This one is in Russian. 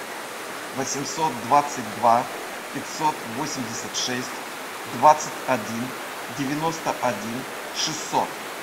восемьсот двадцать два пятьсот восемьдесят шесть двадцать один девяносто один шестьсот